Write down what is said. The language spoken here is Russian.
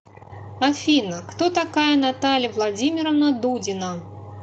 афина кто такая наталья владимировна дудина